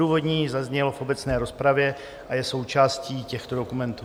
Odůvodnění zaznělo v obecné rozpravě a je součástí těchto dokumentů.